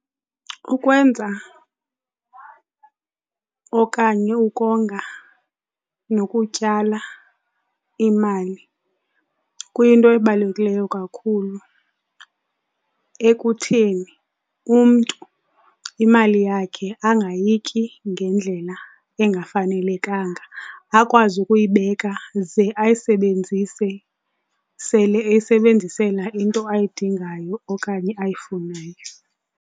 Ukwenza okanye ukonga nokutyala imali kuyinto ebalulekileyo kakhulu ekutheni umntu imali yakhe angayityi ngendlela engafanelekanga, akwazi kuyibeka ze ayisebenzise sele eyisebenzisela into ayidingayo okanye ayifunayo.